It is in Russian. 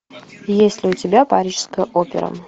есть ли у тебя парижская опера